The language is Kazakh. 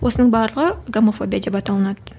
осының барлығы гомофобия деп аталынады